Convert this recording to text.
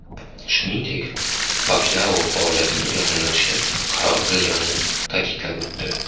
Shuningdek, Pakyao faoliyatini yakunlashga qaror qilganini ta’kidlab o‘tdi.